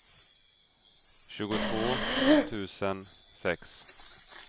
tjugotvå tusen sex